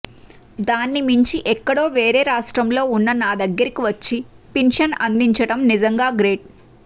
దాన్ని మించి ఎక్కడో వేరే రాష్ట్రంలో ఉన్న నా దగ్గరికి వచ్చి పింఛన్ అందించడం నిజంగా గ్రేట్